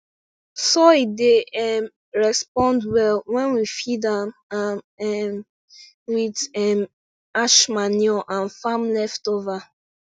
soil dey um respond well when we feed am am um with um ash manure and farm leftover